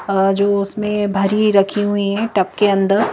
अ जो उसमें भरी रखी हुई है टप के अंदर।